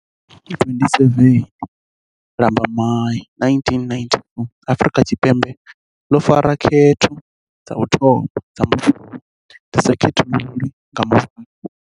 Nga ḽa 27 Lambamai 1994 Af rika Tshipembe ḽo fara khetho dza u thoma dza mbofholowo dzi sa khethululi nga muvhala.